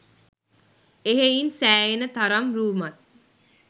එහෙයින් සෑහෙන තරම් රූමත්